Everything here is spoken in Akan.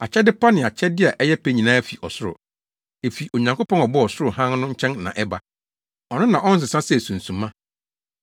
Akyɛde pa ne akyɛde a ɛyɛ pɛ nyinaa fi ɔsoro; efi Onyankopɔn a ɔbɔɔ ɔsoro hann no nkyɛn na ɛba. Ɔno na ɔnsesa sɛ sunsuma.